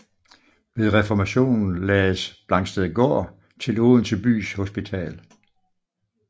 Ved reformationen lagdes Blangstedgaard til Odense bys hospital